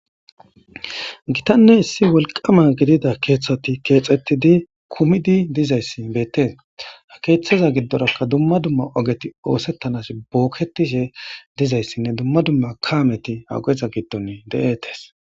Githanne issi wolqqama gidida keeththati keexeththidi kumidi dizayssi beeththees; ha keeththaza giddorakka dumma dumma ogethi ooseththanassi bookkeththishe dizayssinne dumma dumma kaamethi ha ogeza giddon de7eethes.